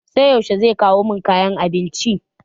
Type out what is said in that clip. Sai yaushe zai kawo min kayan abincin?